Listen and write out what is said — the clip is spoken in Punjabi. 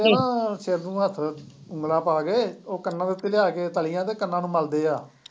ਅ ਸਿਰ ਨੂੰ ਹੱਥ ਉਗਲਾਂ ਪਾ ਕੇ ਉਹ ਕੰਨਾਂ ਦੇ ਉੱਤੇ ਲਿਆ ਕੇ ਤਲੀਆ ਤੇ ਕੰਨਾਂ ਨੂੰ ਮਲਦੇ ਆ।